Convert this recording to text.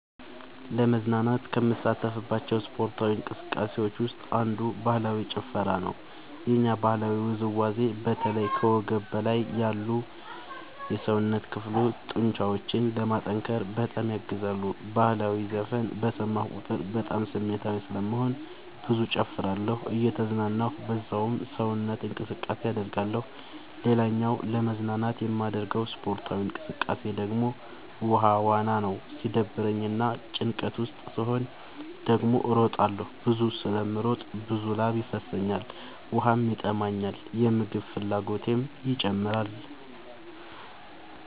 ለመዝናናት ከምሳተፍባቸው ስፓርታዊ እንቅስቃሴዎች ውስጥ አንዱ ባህላዊ ጭፈራ ነው። የኛ ባህላዊ ውዝዋዜ በተለይ ከወገብ በላይ ላሉ የሰውነት ክፍሎ ጡንቻዎችን ለማጠንከር በጣም ያግዛል። በህላዊ ዘፈን በሰማሁ ቁጥር በጣም ስሜታዊ ስለምሆን ብዙ እጨፍራለሁ እየተዝናናሁ በዛውም ሰውነት እንቅስቃሴ አደርጋለሁ። ሌላኛው ለመዝናናት የማደርገው ስፖርታዊ እንቅቃሴ ደግሞ ውሃ ዋና ነው። ሲደብረኝ እና ጭንቀት ውስጥ ስሆን ደግሞ እሮጣለሁ። ብዙ ስለምሮጥ ብዙ ላብ ይፈሰኛል ውሃም ይጠማኛል የምግብ ፍላጎቴም ይጨምራል።